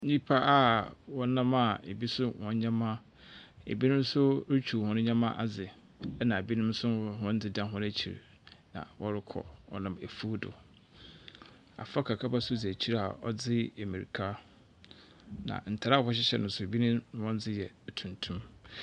Nyimpa a wɔnam a bi so hɔn ndzɛmba. Bi nso retwiw hɔn ndzɛmba adze, ɛna binom nso hɔn dze da hɔn ekyir na wɔrokɔ. Wɔnam efuw do. Abofra kakraba nso dzi ekyir a ɔdze mbirka. Na ntar a wɔhyehyɛ no nso, binom hɔn dze yɛ tuntum.